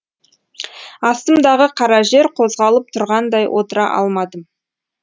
астымдағы қара жер қозғалып тұрғандай отыра алмадым